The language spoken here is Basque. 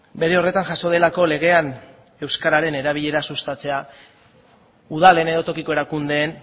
bere horretan jaso delako legean euskararen erabilera sustatzea udalen edo tokiko erakundeen